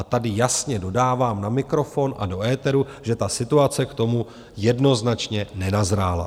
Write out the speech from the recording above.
A tady jasně dodávám na mikrofon a do éteru, že ta situace k tomu jednoznačně nenazrála.